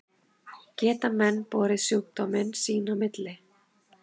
Geta menn borið sjúkdóminn sín á milli?